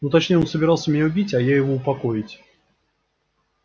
ну точнее он собирался меня убить а я его упокоить